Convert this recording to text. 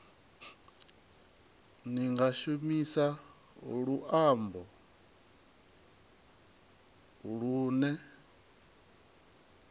ni nga shumisa luambo lune